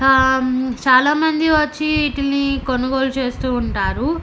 అం చాలా మంది వచ్చి వీటిని కొనుగోలు చేస్తూ ఉంటారు.